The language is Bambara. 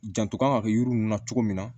Janto kan ka kɛ yiri ninnu na cogo min na